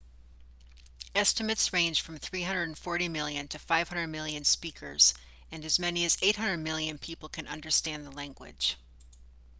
estimates range from 340 million to 500 million speakers and as many as 800 million people can understand the language